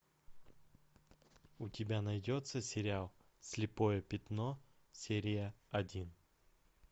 у тебя найдется сериал слепое пятно серия один